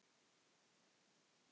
Ég tímdi því ekki.